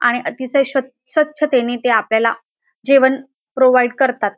आणि अतिशय स्वछ स्वछतेने आपल्याला जेवण प्रोव्हाइड करतात.